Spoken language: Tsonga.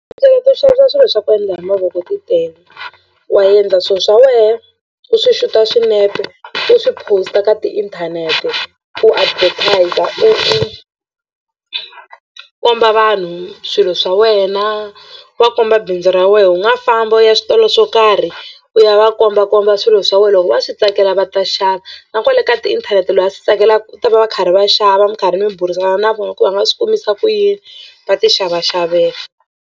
Tindlela to xavisa swilo swa ku endla hi mavoko ti tele wa endla swilo swa wena u swi xuta swinepe u swi post-a ka tiinthanete u advertiser u u komba vanhu swilo swa wena va komba bindzu ra wena u nga famba u ya switolo swo karhi u ya va kombakomba swilo swa wena loko va swi tsakela va ta xava na kwale ka tiinthanete loyi a swi tsakelaka u ta va va karhi va xava mi karhi mi burisana na vona ku va nga swi kombisa ku yini va tixavaxavela.